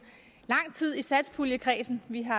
lang tid i satspuljekredsen vi har